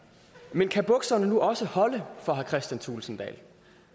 man kan bukserne nu også holde for herre kristian thulesen dahl